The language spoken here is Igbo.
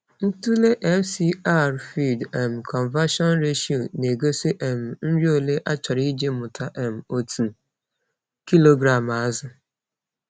Ntụle FCR (feed um conversion ratio) na-egosi um nri ole a chọrọ iji mụta um otu kilogram azụ.